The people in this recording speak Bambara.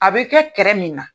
A be kɛ kɛrɛ min na